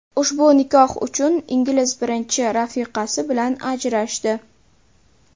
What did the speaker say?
Ushbu nikoh uchun ingliz birinchi rafiqasi bilan ajrashdi.